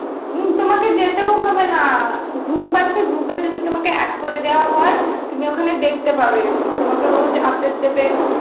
উম তোমাকে যেতেও হবে না, group আছে, group এ যদি তোমাকে add করে দেওয়া হয়, তুমি ওখানে দেখতে পাবে তোমাকে রোজ update দেবে